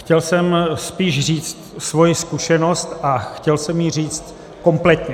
Chtěl jsem spíš říct svoji zkušenost a chtěl jsem ji říct kompletně.